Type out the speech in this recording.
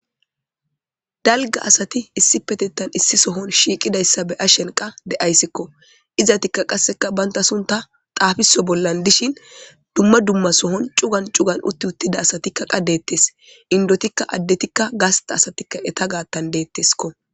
Dalga asati issi petetan issi sohon shiiqidayssa be ashenqa de7ayssikko izatikka qasseka banta sunta xaafiso bollan dishin dumma dumma sohon cugan cugan utti uttida asatikka qa deettes indotikka addetikka gasta asatikka eta gaattan deetteskko.